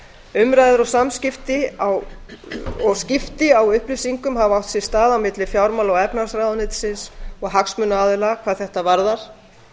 á réttum forsendum umræður og skipti á upplýsingum hafa átt sér stað á milli fjármála og efnahagsráðuneytisins og hagsmunaaðila hvað þetta varðar